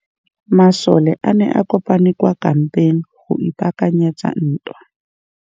Masole a ne a kopane kwa kampeng go ipaakanyetsa ntwa.